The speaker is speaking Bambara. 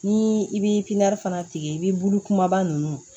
Ni i bi fana tigɛ i bi bulu kumaba nunnu